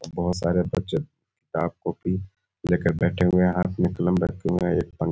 बहुत सारे बच्चे किताब कॉपी ले के बैठे हुए हैं हाथ में कलम रखे हुए एक पन --